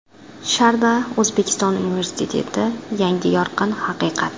ShardaO‘zbekiston universiteti yangi yorqin haqiqat!